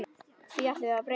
Því ætlum við að breyta.